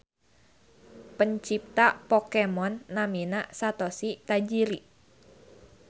Pencipta Pokemon namina Satoshi Tajiri.